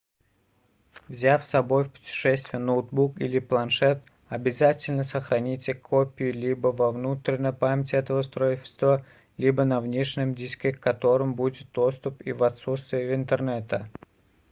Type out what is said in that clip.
взяв собой в путешествие ноутбук или планшет обязательно сохраните копию либо во внутренней памяти этого устройства либо на внешнем диске к которому будет доступ и в отсутствие интернета